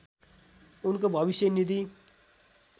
उनको भविष्य निधि